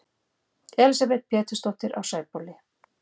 Elísabet Pétursdóttir á Sæbóli